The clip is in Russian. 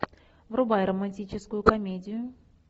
врубай романтическую комедию